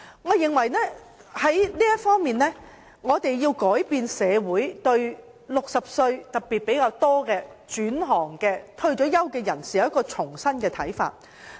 我認為在這方面，我們要令社會對年屆60歲特別是轉行或退休的人士有一種新的看法。